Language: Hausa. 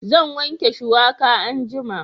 Zan wanke shuwaka anjima